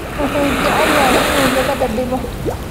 Wuxuu jecel yahay inuu gabadha dhibo